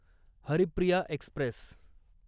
Haripriya Express